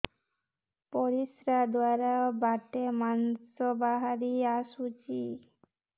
ପରିଶ୍ରା ଦ୍ୱାର ବାଟେ ମାଂସ ବାହାରି ଆସୁଛି